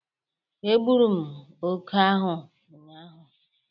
Egburu m ókè ahụ ụnyaahụ!